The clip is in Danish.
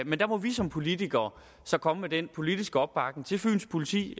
men der må vi som politikere så komme med den politiske opbakning til fyns politi